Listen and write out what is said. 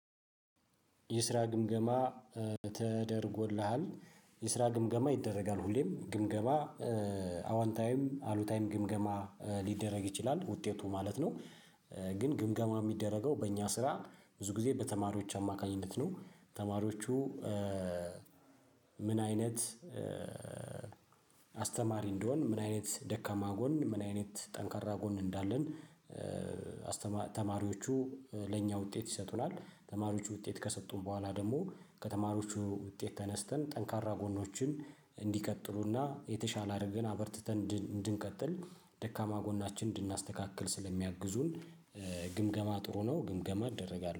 የስራ ግምገማ ተደርጎልሃል የስራ ግምገማ ይደረጋል ሁሌም ግምገማ አወንታዊም አሉታዊም ግምገማ ሊደረግ ይችላል ውጤቱ ማለት ነው። ግን ግምገማ የሚደረገው በእኛ ስራ ብዙ ጊዜ በተማሪዎች አማካኝነት ነው ተማሪዎቹ። ምን አይነት አስተማሪ እንደሆን ምን አይነት ደካማ ጎን ምን አይነት ጠንካራ ጎን እንዳለን። ተማሪዎቹ ለእኛ ውጤት ይሰጡናል ተማሪዎቹ ውጤት ከሰጡን በኋላ ደግሞ ከተማሪዎቹ ውጤት ተነስተን ጠንካራ ጎኖችን እንዲቀጥሉና የተሻለ አድርገን አበርትተን እንድንቀጥል ደካማ ጎናችን እንድናስተካክል ስለሚያግዙን። ግምገማ ጥሩ ነው ግምገማ እደረጋለሁ